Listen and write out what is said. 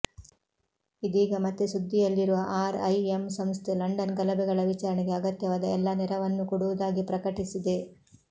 ಇದೀಗ ಮತ್ತೆ ಸುದ್ದಿಯಲ್ಲಿರುವ ಆರ್ಐಎಂ ಸಂಸ್ಥೆ ಲಂಡನ್ ಗಲಭೆಗಳ ವಿಚಾರಣೆಗೆ ಅಗತ್ಯವಾದ ಎಲ್ಲ ನೆರವನ್ನೂ ಕೊಡುವುದಾಗಿ ಪ್ರಕಟಿಸಿದೆ